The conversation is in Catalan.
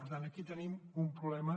per tant aquí tenim un problema